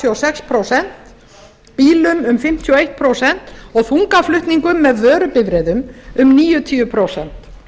og sex prósent bílum um fimmtíu og eitt prósent og þungaflutningum með vörubifreiðum um níutíu prósent